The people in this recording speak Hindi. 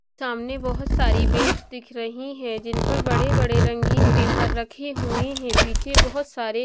सामने बहुत सारी बेंच दिख रही हैं जिन पर बड़े बड़े रंगीन पेपर रखे हुए हैं पीछे बहुत सारे --